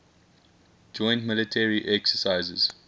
joint military exercises